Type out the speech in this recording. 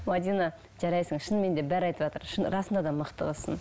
мәдина жарайсың шынымен де бәрі айтыватыр расында да мықты қызсың